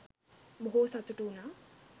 බොහෝ සතුටු වුනා.